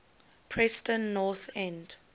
preston north end